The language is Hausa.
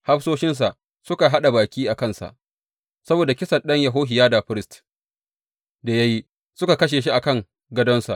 Hafsoshinsa suka haɗa baki a kansa saboda kisan ɗan Yehohiyada firist da ya yi, suka kashe shi a kan gadonsa.